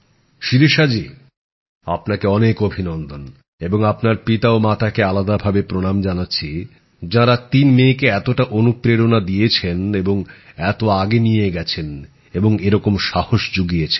শিরিষা জি আপনাকে অনেক অভিনন্দন এবং আপনার বাবা ও মাকে আলাদা ভাবে প্রনাম জানাচ্ছি যাঁরা তিন মেয়েকে এতটা অনুপ্রেরণা দিয়েছেন এবং এত আগে নিয়ে গেছেন এবং এরকম সাহস জুগিয়েছেন